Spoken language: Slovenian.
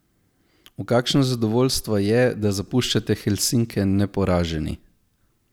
V kakšno zadovoljstvo je, da zapuščate Helsinke neporaženi?